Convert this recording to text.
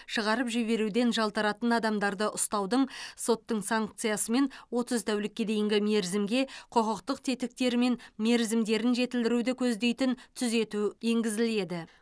шығарып жіберуден жалтаратын адамдарды ұстаудың соттың санкциясымен отыз тәулікке дейінгі мерзімге құқықтық тетіктері мен мерзімдерін жетілдіруді көздейтін түзету енгізіледі